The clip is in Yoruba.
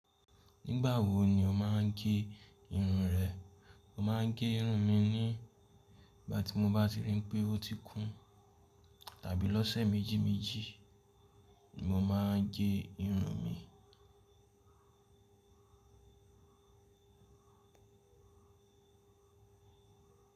Nígbà wo ni o má a ń gé irun rẹ? Mo máa ń gé irun mi ní ìgbà tí mo bá ti rí pé o ti kún tàbí lọ́sẹ̀ méjìméjì ni mo máa ń gé irun mi.